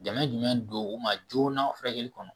Dɛmɛ jumɛn don u ma joona furakɛli kɔnɔ